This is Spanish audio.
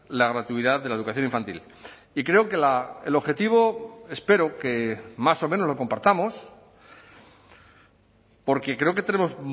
la gratuidad de la educación infantil y creo que el objetivo espero que más o menos lo compartamos porque creo que tenemos